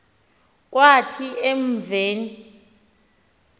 kwathi en v